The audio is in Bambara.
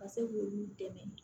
Ka se k'olu dɛmɛ